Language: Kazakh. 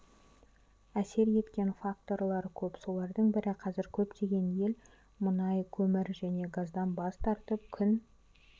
әсер еткен факторлар көп солардың бірі қазір көптеген ел мұнай көмір және газдан бас тартып күн